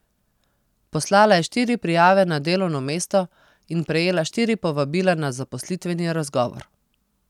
Poslala je štiri prijave na delovno mesto in prejela štiri povabila na zaposlitveni razgovor.